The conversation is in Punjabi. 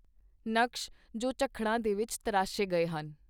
ਨਕਸ਼ ਜੋ ਝਖੜਾਂ ਦੇ ਵਿੱਚ ਤਰਾਸ਼ੇ ਗਏ ਹਨ